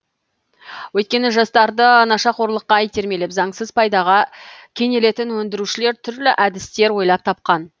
өйткені жастарды нашақорлыққа итермелеп заңсыз пайдаға кенелетін өндірушілер түрлі әдістер ойлап тапқан